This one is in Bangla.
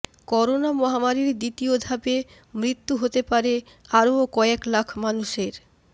করোনা মহামারির দ্বিতীয় ধাপে মৃত্যু হতে পারে আরও কয়েক লাখ মানুষের